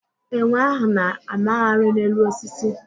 Enwe ahụ na-a magharị n'elu osisi.